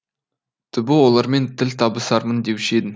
түбі олармен тіл табысармын деуші едім